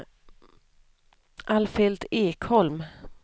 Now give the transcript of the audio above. Alfhild Ekholm